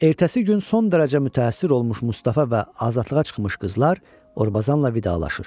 Ertəsi gün son dərəcə mütəəssir olmuş Mustafa və azadlığa çıxmış qızlar Orbazanla vidalaşır.